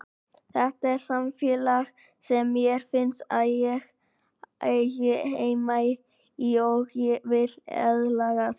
Þetta er samfélag sem mér finnst ég eiga heima í og vil aðlagast.